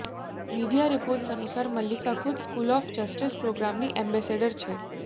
media reports અનુસાર મલ્લિકા ખુદ school of justice પ્રોગ્રામની એમ્બેસેડર છે